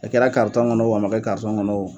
A kɛra karitɔn kɔnɔ o a ma kɛ karitɔn kɔnɔ o